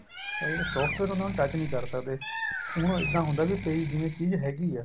ਆ ਜਿਹੜਾ software ਹੁੰਦਾ ਉਹਨੂੰ touch ਨੀਂ ਕਰ ਸਕਦੇ ਹੁਣ ਉਹ ਇੱਦਾਂ ਹੁੰਦਾ ਵੀ ਪਈ ਜਿਵੇਂ ਚੀਜ਼ ਹੈਗੀ ਏ